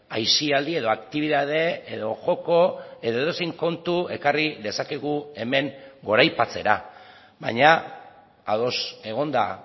aisialdi edo aktibitate edo joko edo edozein kontu ekarri dezakegu hemen goraipatzera baina ados egonda